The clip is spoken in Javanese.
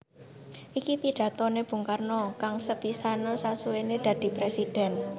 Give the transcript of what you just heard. Iki pidatoné Bung Karno kang sepisanan sasuwéné dadi Présidèn